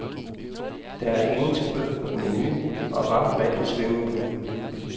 Der er engelsk bøf på menuen og varmt vand i swimmingpoolen.